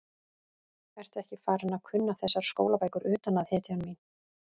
Ertu ekki farin að kunna þessar skólabækur utan að, hetjan mín?